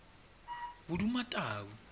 bodumatau